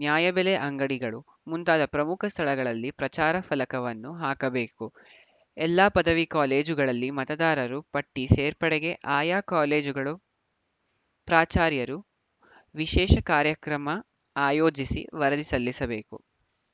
ನ್ಯಾಯಬೆಲೆ ಅಂಗಡಿಗಳು ಮುಂತಾದ ಪ್ರಮುಖ ಸ್ಥಳಗಳಲ್ಲಿ ಪ್ರಚಾರ ಫಲಕವನ್ನು ಹಾಕಬೇಕು ಎಲ್ಲ ಪದವಿ ಕಾಲೇಜುಗಳಲ್ಲಿ ಮತದಾರರು ಪಟ್ಟಿ ಸೇರ್ಪಡೆಗೆ ಆಯಾ ಕಾಲೇಜುಗಳು ಪ್ರಾಚಾರ್ಯರು ವಿಶೇಷ ಕಾರ್ಯಕ್ರಮ ಆಯೋಜಿಸಿ ವರದಿ ಸಲ್ಲಿಸಬೇಕು